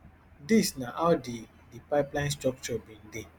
dis na how di di pipeline structre bin dey